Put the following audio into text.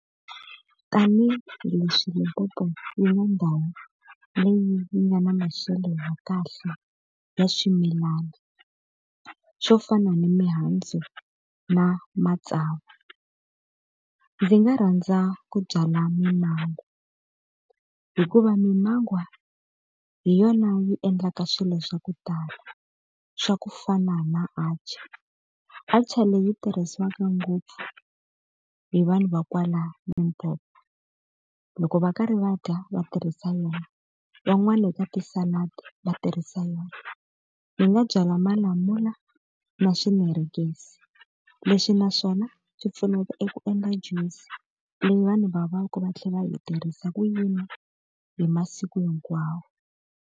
Tanihi leswi Limpopo yi nga ndhawu leyi yi nga na maxelo ya kahle ya swimilana, xo fana na mihandzu na matsavu. Ndzi nga rhandza ku byala mimangwa hikuva mimangwa hi yona yi endlaka swilo swa ku tala, swa ku fana na atchaar. Atchaar leyi tirhisiwaka ngopfu hi vanhu va kwala Limpopo. Loko va karhi va dya va tirhisa yona, van'wana eka ti-salad va tirhisa yona. Ni nga byala malamula na swinarakisi, leswi na swona swi pfuneta eku endla juice, leyi vanhu va vaka va tlhela va yi tirhisa ku yi nwa hi masiku hinkwawo.